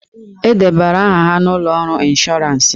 E debara aha ha n'ụlọ ọrụ ịnshọransị.